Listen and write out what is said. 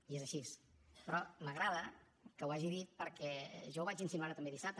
i és així però m’agrada que ho hagi dit perquè jo ho vaig insinuar també dissabte